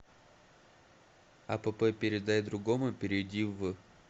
апп передай другому перейди в